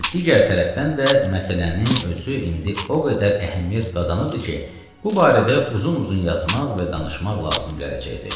Və digər tərəfdən də məsələnin özü indi o qədər əhəmiyyət qazanıbdır ki, bu barədə uzun-uzun yazmaq və danışmaq lazım gələcəkdi.